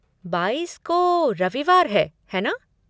बाईस को रविवार है, है ना?